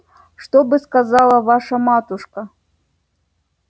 что бы сказала ваша матушка